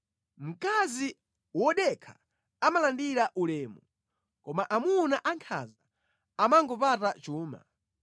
Mkazi wodekha amalandira ulemu, koma amuna ankhanza amangopata chuma.